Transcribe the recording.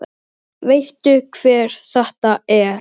Veistu hver þetta er?